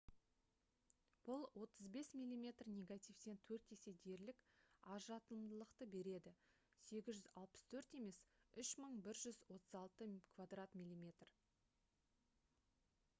бұл 35 мм негативтен төрт есе дерлік көбірек ажыратымдылықты береді 864 емес 3136 мм2